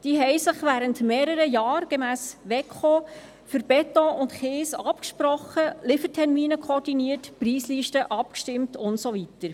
Diese sprachen sich gemäss WEKO während mehrerer Jahre für Beton- und Kieslieferungen ab, koordinierten Liefertermine, stimmten Preislisten ab und so weiter.